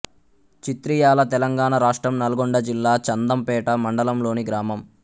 చిత్రియాల తెలంగాణ రాష్ట్రం నల్గొండ జిల్లా చందంపేట మండలంలోని గ్రామం